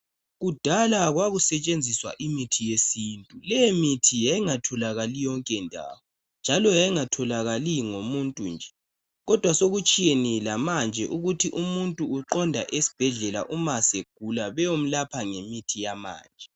kudala kwasetshenziswa imithi yesintu le mihi yayingatholakali yonke ndawo njalo yayingatholakali ngomuntu nje kodwa sokutshiyene lamanje ukuthi umuntu uqonda esibhedlela uma segula beyomlapha ngemithi yamanje